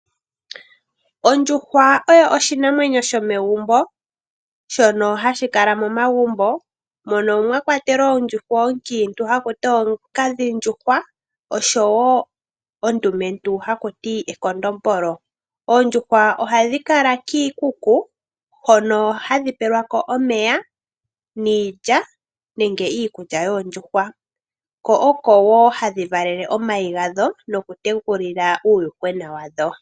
Ondjuhwa oyo oshinamwenyo shomegumbo, shono hashi kala momagumbo mono mwa kwatelwa ondjuhwa onkiintu ha ku ti onkadhindjuhwa osho wo ondumentu ndjono haku ti ekondombolo. Oondjuhwa ohadhi kala kiikuku hono hadhi pelwa ko omeya niilya nenge iikulya yoondjuhwa, ko oko wo hadhi valele omayi gadho nokutekulila uuyuhwena wadho.